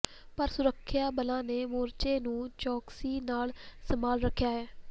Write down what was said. ਪਰ ਸੁਰੱਖਿਆ ਬਲਾਂ ਨੇ ਮੋਰਚੇ ਨੂੰ ਚੌਕਸੀ ਨਾਲ ਸੰਭਾਲ ਰੱਖਿਆ ਹੈ